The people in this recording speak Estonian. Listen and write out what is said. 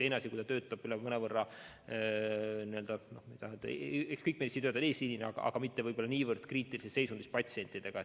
Teine asi on, kui ta töötab mujal – kõik meditsiinitöötajad on küll eesliinil –, vahest mitte nii kriitilises seisundis patsientidega.